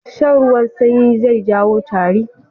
Shan ruwan sanyi zai jawo tari